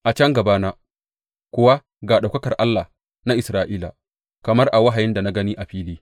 A can gabana kuwa ga ɗaukakar Allah na Isra’ila, kamar a wahayin da na gani a fili.